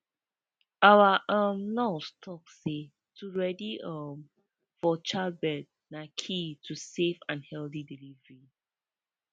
our um nurse talk say to ready um for childbirth na key to safe and healthy delivery